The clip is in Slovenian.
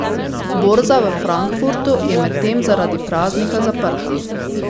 Borza v Frankfurtu je medtem zaradi praznika zaprta.